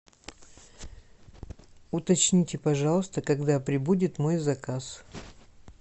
уточните пожалуйста когда прибудет мой заказ